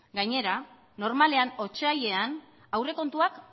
gainera normalean otsailean aurrekontuak